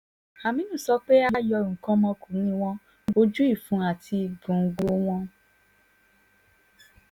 àmínú sọ pé a yọ nǹkan ọmọkùnrin wọn ojú ìfun àti gògòńgò wọn